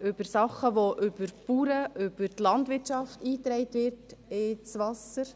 über Sachen, die über die Bauern, über die Landwirtschaft, ins Wasser hineingetragen werden, gesprochen.